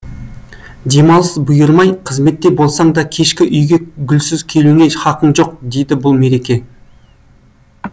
демалыс бұйырмай қызметте болсаң да кешке үйге гүлсіз келуіңе хақың жоқ дейді бұл мереке